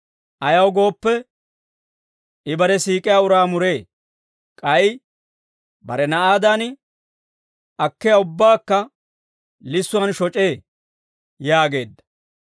Ayaw gooppe, I bare siik'iyaa uraa muree; k'ay bare na'aadan akkiyaa ubbaakka lissuwaan shoc'ee» yaageedda.